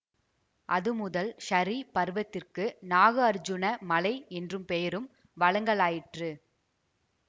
அதுமுதல் ஸரீ பருவத்திற்க்கு நாகார்ஜுன மலை என்ற பெயரும் வழங்கலாயிற்று